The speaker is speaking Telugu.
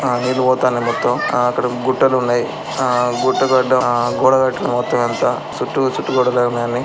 ఆ నీళ్ళు పోతన్నాయి. మొత్తం ఆ అక్కడ గుటలు ఉన్నాయి ఆ గుట్ట ఆడం ఆ గోడ .కట్టుకున్నాడు మొత్తం అంత చుట్టూ చుట్టూ గోడలే ఉన్నాయి అన్నీ.